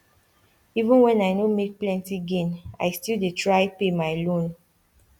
even when i no make plenty gain i still dey try pay my loan